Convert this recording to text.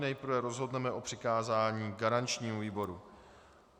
Nejprve rozhodneme o přikázání garančnímu výboru.